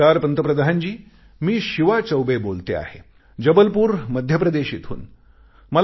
नमस्कार पंतप्रधानजी मी शिवा चौबे बोलते आहे जबलपूर मध्य प्रदेश इथून